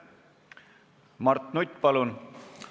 Mart Nutt, palun!